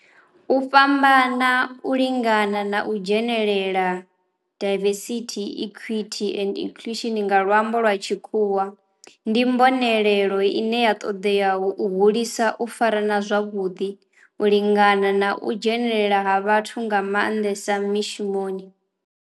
U fhambana u lingana na u dzhenelela, diversity, equity and inclusion nga luambo lwa tshikhuwa, ndi mbonelelo ine ya toda u hulisa u farana zwavhudi u lingana na u dzhenelela ha vhathu nga mandesa mishumoni.